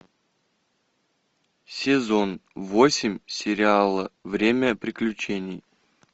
сезон восемь сериала время приключений